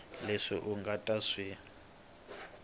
leswi u nga ta swi